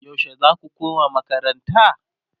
yaushe zaku koma makaranta?